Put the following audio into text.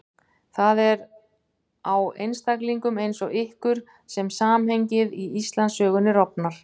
Það er á einstaklingum eins og ykkur sem samhengið í Íslandssögunni rofnar.